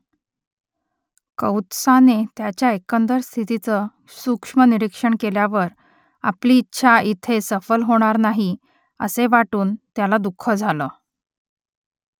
कौत्साने त्याच्या एकंदर स्थितीचं सूक्ष्म निरीक्षण केल्यावर आपली इच्छा इथे सफल होणार नाही असे वाटून त्याला दुःख झालं